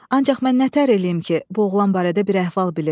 Ancaq mən nətər eləyim ki, bu oğlan barədə bir əhval bilim.